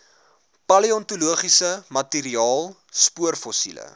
paleontologiese materiaal spoorfossiele